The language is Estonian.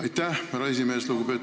Aitäh, härra esimees!